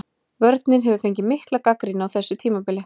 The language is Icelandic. Vörnin hefur fengið mikla gagnrýni á þessu tímabili.